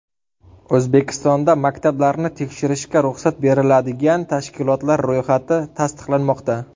O‘zbekistonda maktablarni tekshirishga ruxsat beriladigan tashkilotlar ro‘yxati tasdiqlanmoqda.